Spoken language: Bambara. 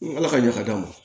Ala ka ɲɛ ka d'a ma